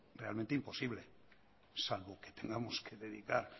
realmente imposible salvo que tengamos que dedicar